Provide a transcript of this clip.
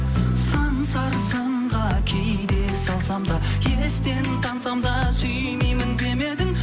сан сарсаңға кейде салсам да естен таңсам да сүймеймін демедің